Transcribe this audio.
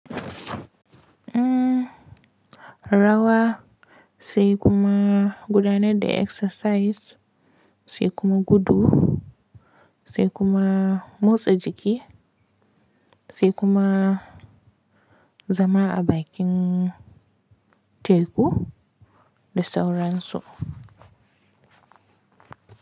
Rawa sai kuma gudanar da exercise sai kuma gudu sai kuma motsa jiki sai kuma zama a bakin teku da sauransu.